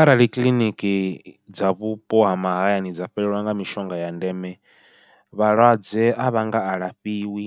Arali kiḽiniki dza vhupo ha mahayani dza fhelelwa nga mishonga ya ndeme, vhalwadze a vha nga a lafhiwi